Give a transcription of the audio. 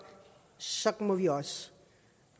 så må vi også